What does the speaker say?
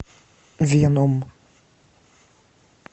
веном